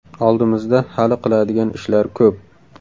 Oldimizda hali qiladigan ishlar ko‘p.